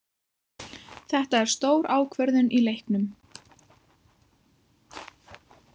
Þetta er stór ákvörðun í leiknum.